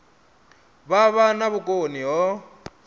vha vha na vhukoni ho